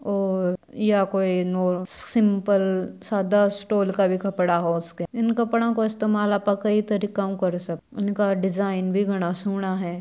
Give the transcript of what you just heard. और यह कोई सिम्पल सादा स्टॉल का भी कपड़ा हो सके इन कपड़ो का इस्तेमाल आपा कई तरिकाउ कर सका इनका डिज़ाइन भी घना सोणा है।